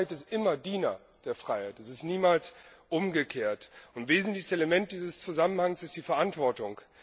Die Sicherheit ist immer Diener der Freiheit. Es ist niemals umgekehrt. Ein wesentliches Element dieses Zusammenhangs ist die Verantwortung.